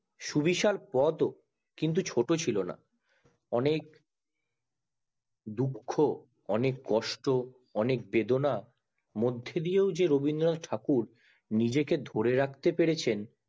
সুবিশাল পদ ও ছোট ছিলো না অনেক অনক দুঃখ অনেক কষ্ট অনেক বেদনা মধদিয়েও যে রবীন্দ্রনাথ ঠাকুর নিজেকে ধরে রাখতে পেরেছেন